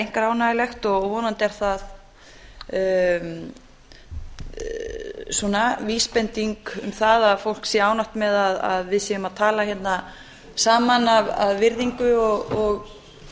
einkar ánægjulegt vonandi er það vísbending um það að fólk sé ánægt með að við séum að tala hérna saman af virðingu og